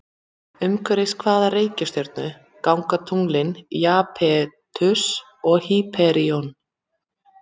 Umhverfis hvaða reikistjörnu ganga tunglin Japetus og Hýperíon?